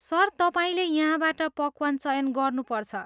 Sir, तपाईँले यहाँबाट पकवान चयन गर्नु पर्छ।